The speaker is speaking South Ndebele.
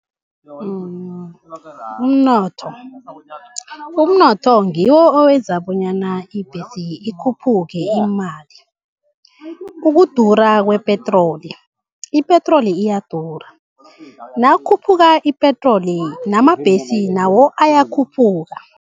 Umnotho, umnotho ngiwo owenza bonyana ibhesi ikhuphuke imali, ukudura kwepetroli. Ipetroli iyadura, nakukhuphuka ipetroli namabhesi nawo ayakhuphuka.